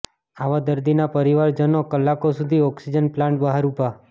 આવા દર્દીના પરિવારજનો કલાકો સુધી ઓક્સિજન પ્લાન્ટ બહાર ઉભા